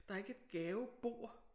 Der er ikke et gavebord